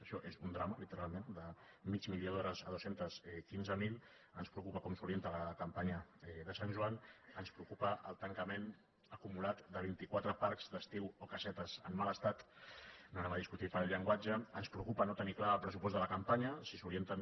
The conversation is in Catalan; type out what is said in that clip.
això és un drama literalment de mig milió d’ho·res a dos cents i quinze mil ens preocupa com s’orienta la campanya de sant joan ens preocupa el tancament acumulat de vint·i·quatre parcs d’estiu o casetes en mal estat no anem a discutir pel llenguatge ens preocupa no tenir clar el pressupost de la campanya si s’orienten